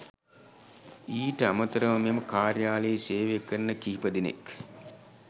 ඊට අමතරව මෙම කාර්යාලයේ සේවය කරන කිප දෙනෙක්